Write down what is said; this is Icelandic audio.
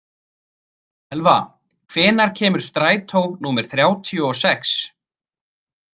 Elva, hvenær kemur strætó númer þrjátíu og sex?